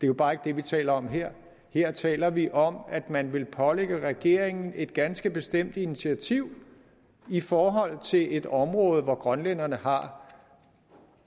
jo bare ikke det vi taler om her her taler vi om at man vil pålægge regeringen et ganske bestemt initiativ i forhold til et område hvor grønlænderne har